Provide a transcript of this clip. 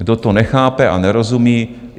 Kdo to nechápe a nerozumí?